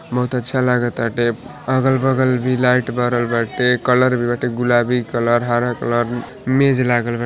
बहुत अच्छा लागताटे अलग-बगल बी लाईट बरल बाटे कलर भी बाटे गुलाबी कलर हरा कलर मेज लागल बा।